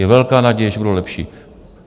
Je velká naděje, že budou lepší.